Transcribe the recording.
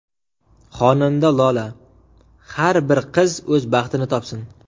Xonanda Lola: Har bir qiz o‘z baxtini topsin.